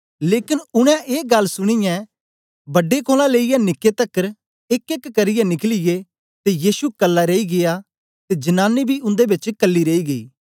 लेकन उनै ए गल्ल सुनीयै बड्डे कोलां लेईयै निके तकर एकएक करियै निकलियै ते यीशु कल्ला रेई गीया ते जनांनी बी उन्दे बेच कल्ली रेई गेई